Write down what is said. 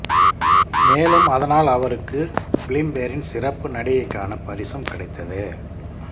மேலும் அதனால் அவருக்கு பிலிம்பேரின் சிறப்பு நடிகைக்கான பரிசும் கிடைத்தது